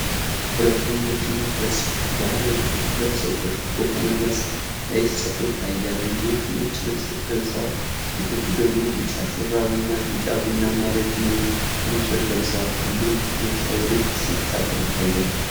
ሁለት ወንዶችና ሁለት ሴቶች ባህላዊ ልብሶችን ለብሰው ክፍት በሆነ መስክ ላይ ሲጨፍሩ ይታያል። ወንዶቹ ነጭ ልብስ ለብሰዋል፤ ሴቶቹ ደግሞ ቢጫ ሹራብና ቢጫ-ቡናማ ረጅም ቀሚሶች ለብሰዋል። ሁሉም በደስታ ወደፊት ሲንቀሳቀሱ ይታያሉ።